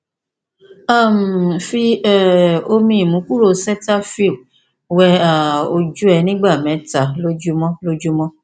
um fi um omi imukuro cetaphil wẹ um ojú rẹ ní ìgbà mẹta lójúmọ lójúmọ